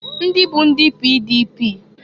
Ndịbụ ndị PDP.